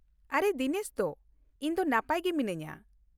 ᱟᱨᱮ ᱫᱤᱱᱮᱥ ᱫᱚ ! ᱤᱧ ᱫᱚ ᱱᱟᱯᱟᱭ ᱜᱮ ᱢᱤᱱᱟᱹᱧᱟᱹ ᱾